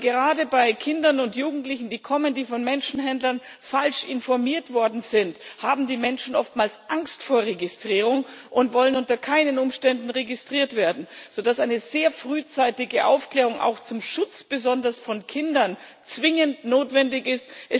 Denn gerade bei Kindern und Jugendlichen, die kommen, die von Menschenhändlern falsch informiert worden sind, haben die Menschen oftmals Angst vor der Registrierung und wollen unter keinen Umständen registriert werden, sodass eine sehr frühzeitige Aufklärung auch zum Schutz besonders von Kindern zwingend notwendig ist.